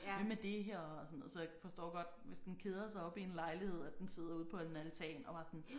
Hvem er det her og sådan noget så jeg forstår godt hvis den keder sig oppe i en lejlighed at den sidder ude på en altan og bare sådan